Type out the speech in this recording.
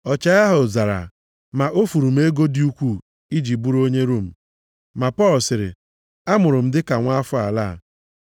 Ọchịagha ahụ zara, “ma o furu m ego dị ukwuu iji bụrụ onye Rom.” Ma Pọl sịrị, “Amụrụ m dịka nwa afọ ala a.”